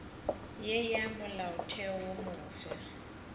ya ya molaotheo wo mofsa